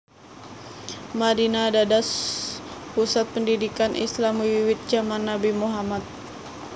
Madinah dados pusat pendidikan Islam wiwit jaman Nabi Muhammad